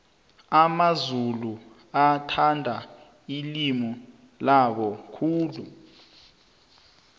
amamzulu athanda ilimi labo khulu